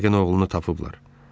Yəqin oğlunu tapıblar.